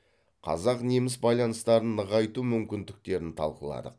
қазақ неміс байланыстарын нығайту мүмкіндіктерін талқыладық